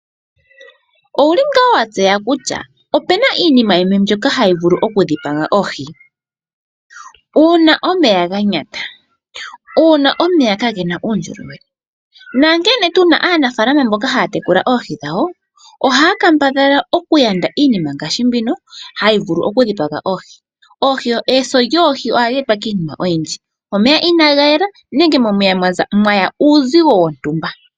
Ou li ngaa wa tseya kutya opu na iinima yimwe mbyoka hayi vulu okudhipaga oohi? Uuna omeya ga nyata, uuna omeya kaage na uundjolowele nankene tu na aanafaalama mboka haya tekula oohi dhawo, ohaya kambadhala okutekula oohi dhawo ngaashi mbino hayi vulu okudhipaga oohi. Eso lyoohi ohali etwa kiinima oyindji. Omeya inaaga yela nenge momeya mwa ya uuzigo wontumba.